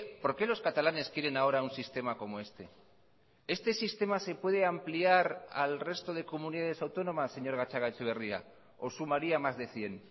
por qué los catalanes quieren ahora un sistema como este este sistema se puede ampliar al resto de comunidades autónomas señor gatzagaetxeberria o sumaría más de cien